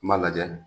N b'a lajɛ